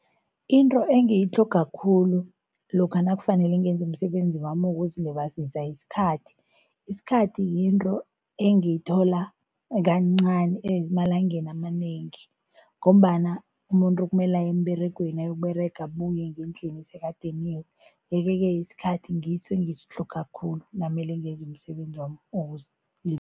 Into engiyitlhoga khulu lokha nakufanele ngenze umsebenzi wami wokuzilibazisa yisikhathi. Isikhathi yinto engiyithola kancani emalangeni amanengi ngombana umuntu kumele aye emberegweni, ayokuberega abuye ngendlini sekadiniwe yeke-ke isikhathi ngiso engisitlhoga khulu namele ngenze umsebenzi wami